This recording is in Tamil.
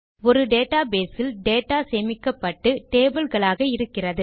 ஒரு டேட்டாபேஸ் இல் டேட்டா சேமிக்கப்பட்டு டேபிள் களாக இருக்கிறது